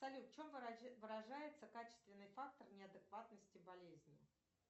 салют в чем выражается качественный фактор неадекватности болезни